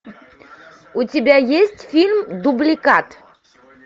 у тебя есть фильм дубликат